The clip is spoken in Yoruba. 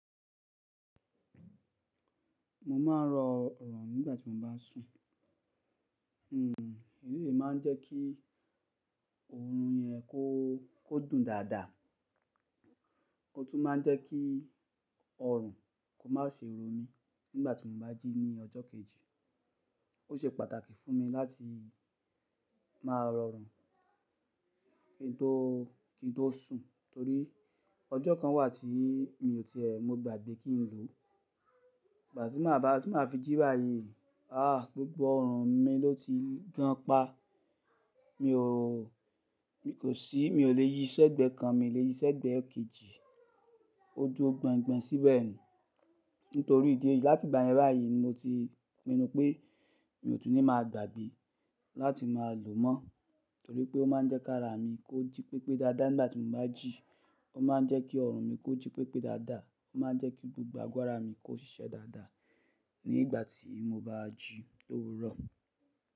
Mo máa ń rọ òòrùn nígbà tí mo bá ń sùn. Oóm, eyí máa ń jẹ́ kí oòrùn yẹn kó dùn dáadáa, ó tún máa ń jẹ́ kí òòrùn kò má ṣe rò mi nígbà tí mo bá jí ní ọjọ́ kejì. Ó ṣe pàtàkì fún mi láti máa rọ òòrùn kí n tó sùn torí ọjọ́ kan wà tí mi ò tẹẹ mo gbàgbé kí n lò ó. Ìgbà tí màá fi jí báyìí, àá, gbogbo òòrùn mi ló ti gan pá. Mi ò lè yí ṣẹ́gbẹ́ kan, mi ò lè yí ṣẹ́gbẹ́ kejì, o dúró gbọn gbọn síbẹ̀ ni. Nítorí ìdí èyí, láti ìgbà yẹn báyìí ni mo ti ri pé mi ò tún ní máa gbàgbé láti máa lò ó mọ́ torí pé ó máa ń jẹ́ ká ara mi kó jí pépé dáadáa. Nígbà tí mo bá jí, ó máa ń jẹ́ kí òòrùn mi kó jí pépé dáadáa, ó máa ń jẹ́ kí gbogbo ara mi kó ṣiṣẹ́ dáadáa. Nígbà tí mo bá jí, lówúro.